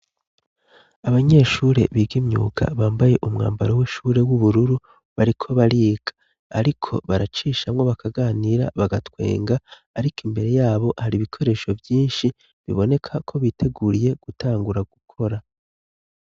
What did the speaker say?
Abanyeshure biga imyuga bambaye umwambaro w'ishure w'ubururu bariko bariga, ariko baracishamwo bakaganira bagatwenga, ariko imbere yabo hari ibikoresho vyinshi biboneka ko biteguriye gutangura gukora.